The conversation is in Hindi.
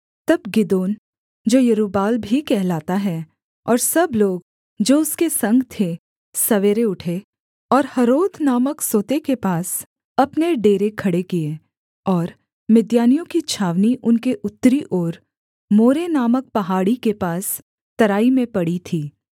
तब गिदोन जो यरूब्बाल भी कहलाता है और सब लोग जो उसके संग थे सवेरे उठे और हरोद नामक सोते के पास अपने डेरे खड़े किए और मिद्यानियों की छावनी उनके उत्तरी ओर मोरे नामक पहाड़ी के पास तराई में पड़ी थी